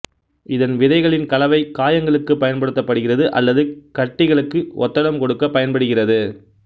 இதன் விதைகளின் கலவை காயங்களுக்கு பயன்படுத்தப்படுகிறது அல்லது கட்டிகளுக்கு ஒத்தடம் கொடுக்கப் பயன்படுகிறது